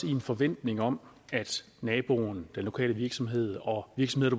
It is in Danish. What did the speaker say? i en forventning om at naboen den lokale virksomhed og virksomheder